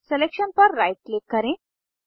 अब सलेक्शन पर right click करें